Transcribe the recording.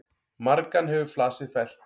Margan hefur flasið fellt.